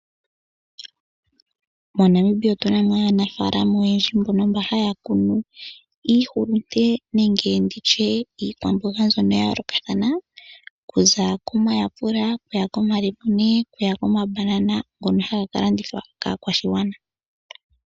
MoNamibia otuna mo aanafaalama oyendji mbono mba haya kunu iihulute nenge nditye iikwamboga mbyono ya yoolokathana okuza komayapula okuya komalemune okuya komabanana ngono haga ka landithwa kaakwashigwana.